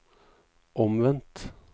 omvendt